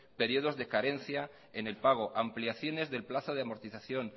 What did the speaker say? periodos de carencia en el pago ampliaciones del plazo de amortización